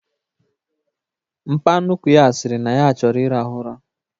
Mpa nnukwu ya sịrị na ya chọrọ ịrahụ ụra